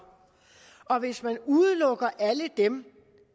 og hvis man udelukker alle dem